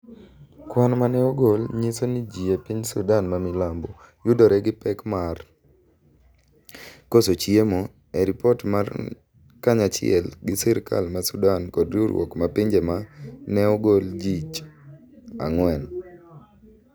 kwan ma ne ogol nyiso ni ji e piny Sudan mamilambo yudore gi pek mar. koso chiemo e ripot mar kanyachiel gi sirikal ma sudan kod riwruok mar pinje ma. ne ogol jich ang'wen